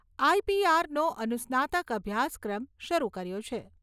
આઈ.પી.આર.નો અનુસ્નાતક અભ્યાસક્રમ શરૂ કર્યો છે.